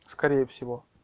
скорее всего